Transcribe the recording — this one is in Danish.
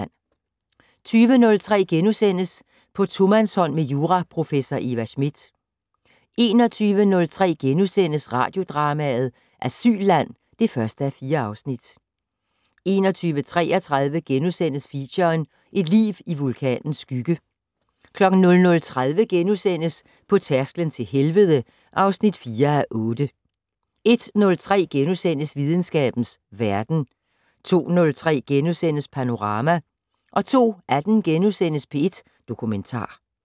20:03: På tomandshånd med juraprofessor Eva Smith * 21:03: Radiodrama: Asylland (1:4)* 21:33: Feature: Et liv i vulkanens skygge * 00:30: På tærsklen til helvede (4:8)* 01:03: Videnskabens Verden * 02:03: Panorama * 02:18: P1 Dokumentar *